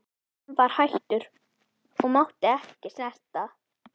Hann var hættur og mátti ekki snerta.